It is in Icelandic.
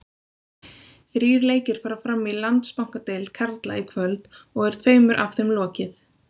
Þrír leikir fara fram í Landsbankadeild karla í kvöld og er tveimur af þeim lokið.